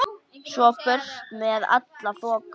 Svo burt með alla þoku.